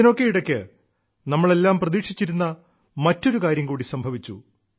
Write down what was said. ഇതിനൊക്കെ ഇടയ്ക്ക് നമ്മളെല്ലാം പ്രതീക്ഷിച്ചിരുന്ന മറ്റൊരു കാര്യം കൂടി സംഭവിച്ചു